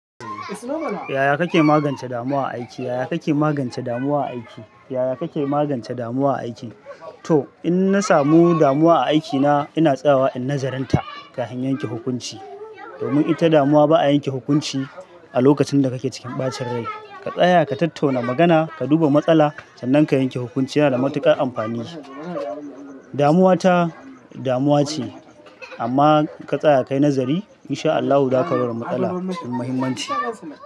Yaya kake magance damuwa a aiki? Yaya kake magance damuwa a aiki? Yaya kake magance damuwa a aiki? To in na samu damuwa a aikina ina tsayawa in nazarinta kahin yanke hukunci. Domin ita damuwa ba'a yanke hukunci a lokacin da kake cikin ɓacin rai. Ka tsaya ka tattauna magana ka duba matsala sannan ka yanke hukunci yana da matuƙar amfani. Damuwa ta damuwa ce amma ka tsaya ka yi nazari in sha Allahu zaka ga matsalar da muhimmanci.